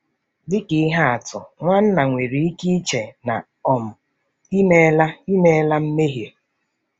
Dị ka ihe atụ, nwanna nwere ike iche na um i meela i meela mmehie.